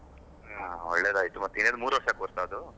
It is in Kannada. ಒಳ್ಳೆದಾಯಿತು ಮತ್ತೇನ್ ಮೂರೂ ವರ್ಷ course ಅ ಅದು?